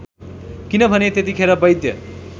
किनभने त्यतिखेर वैद्य